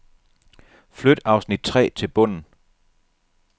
Flyt afsnit tre til bunden.